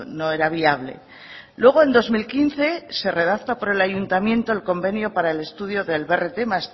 no era viable luego en dos mil quince se redacta por el ayuntamiento el convenio para el estudio del brt más